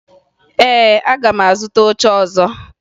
Ee, aga m azụta oche ọzọ